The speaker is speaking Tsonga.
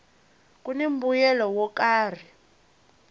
kuni mbuyelo wo karhi